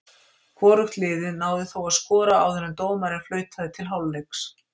Hvorugt liðið náði þó að skora áður en dómarinn flautaði til hálfleiks.